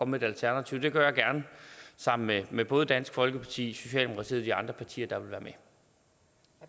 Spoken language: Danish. med et alternativ det gør jeg gerne sammen med med både dansk folkeparti socialdemokratiet og de andre partier der vil være